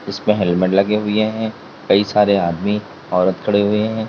इसपे हेलमेट लगे हुए हैं कई सारे आदमी औरत खड़े हुए हैं।